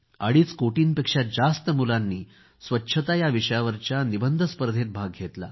अडीच कोटींपेक्षा जास्त मुलांनी स्वच्छता या विषयावरच्या निबंध स्पर्धेमध्ये भाग घेतला